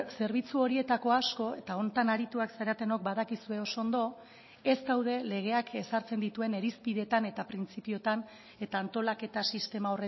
zerbitzu horietako asko eta honetan arituak zaretenok badakizue oso ondo ez daude legeak ezartzen dituen irizpideetan eta printzipioetan eta antolaketa sistema